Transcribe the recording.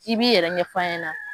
I b'i yɛrɛ ɲɛf'an ɲɛna.